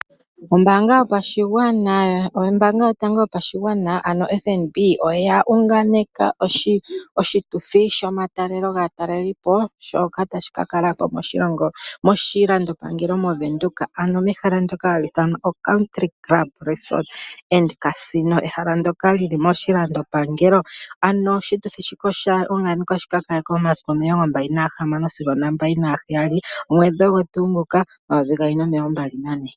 Ombaanga yotango yopashigwana yoFNB oya unganeka oshituthi sho matalelo gaataleli po shoka tashi ka ningilwa moshilandopangelo moWindhoek ano mehala ndoka hali ithanwa Windhoek Country Club Resort and Casino. Ehala ndoka li li moshilandopanelo, ano oshituthi shika osha unganekwa shi ka kale ko momasiku 24-27 Apiilili 2024.